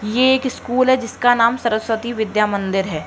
ये एक स्कूल है जिसका नाम सरस्वती विद्या मंदिर है।